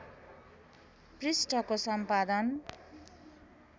पृष्ठको सम्पादन